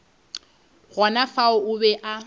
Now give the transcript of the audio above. gona fao o be a